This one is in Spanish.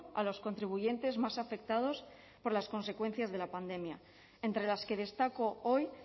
a los contribuyentes más afectados por las consecuencias de la pandemia entre las que destaco hoy